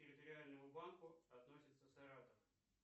территориальному банку относится саратов